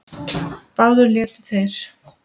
Báðir létu þeir